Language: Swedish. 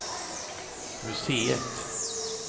museet